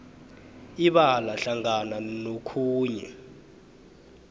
ibala hlangana nokhunye